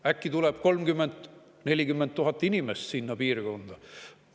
Äkki tuleb 30 000 või 40 000 inimest sinna piirkonda?